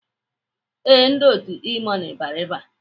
Ee, ndị otu E-money bịara ebe a.